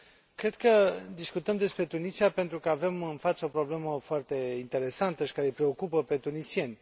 Cred că discutăm despre Tunisia pentru că avem în față o problemă foarte interesantă și care îi preocupă pe tunisieni.